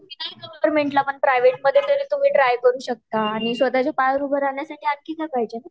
हयाच्या वर कस आहे न तुम्ही गवर्नमेंटला पण प्राइवेट मध्ये पण तुम्ही ट्राय करू शकता आणि स्वतः च्या पायावर उभ राहण्यसाठी आणखी काय पाहिजे